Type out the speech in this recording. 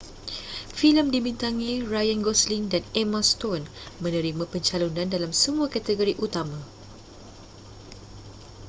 filem dibintangi ryan gosling dan emma stone menerima pencalonan dalam semua kategori utama